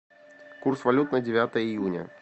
курс валют на девятое июня